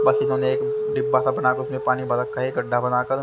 बस इन्होने एक डिब्बा सा बना कर पानी भर रखा हैं गढ़ा बना कर।